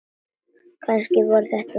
Kannski voru þetta drekar?